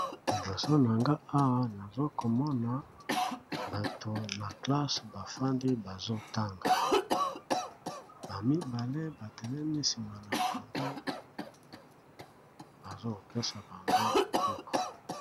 Liboso na nga awa naza komona batu na kelasi bazotanga ba mibale baza sima bazo pesa bango cours.